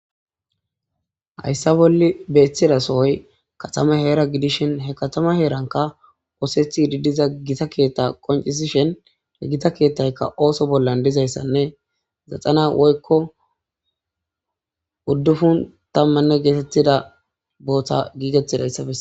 hayssa bolli beeththidasohoy katama heera gidishin he katama heeranka woosethi ididiza gita keetta qoncisishen he gita keethtaykka ooso bollan dizayssanne zaxana woykko uddufun tammanne geetettida booththa giigettidayssafese